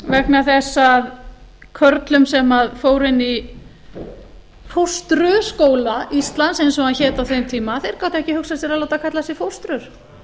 þess að körlum sem fóru inn í fóstruskóla íslands eins og hann hét á þeim tíma þeir gátu ekki hugsað sér að láta kalla sig fóstrur